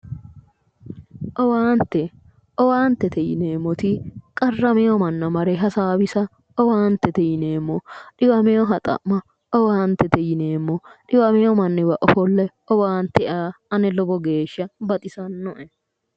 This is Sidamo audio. Owaante owaante yinemmoti qarramewo manna mare hasaawisa owaantete yineemmo, dhiwameha xa'ma owaantete yineemmo dhiwamewo manniwa offolline owaante aa ane lowo geeshsha baxisannoe